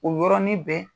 O yɔrɔnin bɛɛ